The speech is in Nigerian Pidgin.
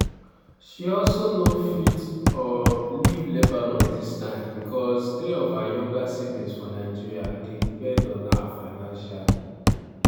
she also no fit um leave lebanon dis time becos three of her younger siblings for nigeria dey depend on her financially.